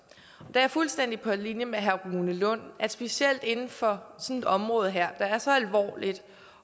jeg er fuldstændig på linje med herre rune lund specielt inden for sådan et område her der er så alvorligt